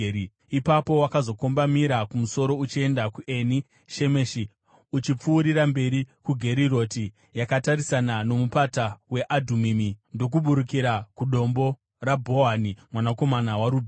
Ipapo wakazokombamira kumusoro uchienda kuEni Shemeshi, uchipfuurira mberi kuGeriroti yakatarisana noMupata weAdhumimi, ndokuburikira kuDombo raBhohani mwanakomana waRubheni.